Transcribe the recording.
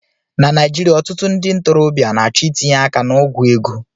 Na Naijiria, ọtụtụ ndị ntorobịa na-achọ itinye aka n'ogwu ego.